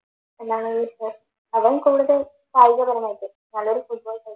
എന്താണെന്ന് വച്ചാൽ അതിലും കൂടുതൽ കായികപരമായിട്ട്